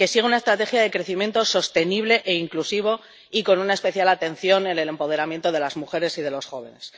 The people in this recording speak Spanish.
que siga una estrategia de crecimiento sostenible e inclusivo, y con una especial atención al empoderamiento de las mujeres y de los jóvenes.